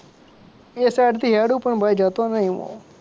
એ side થી હેડુ પણ ભાઈ જતો નહીં હું